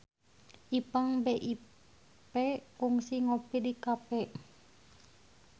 Ipank BIP kungsi ngopi di cafe